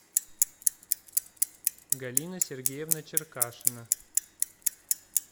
галина сергеевна черкашина